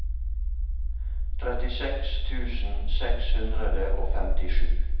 trettiseks tusen seks hundre og femtisju